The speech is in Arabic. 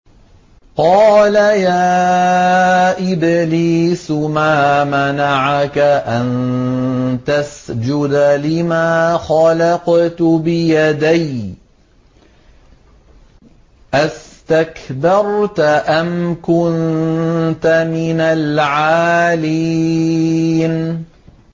قَالَ يَا إِبْلِيسُ مَا مَنَعَكَ أَن تَسْجُدَ لِمَا خَلَقْتُ بِيَدَيَّ ۖ أَسْتَكْبَرْتَ أَمْ كُنتَ مِنَ الْعَالِينَ